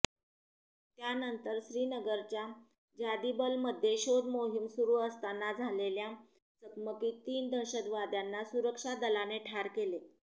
त्यानंतर श्रीनगरच्या जादिबलमध्ये शोध मोहीम सुरू असताना झालेल्या चकमकीत तीन दहशतवाद्यांना सुरक्षा दलाने ठार केले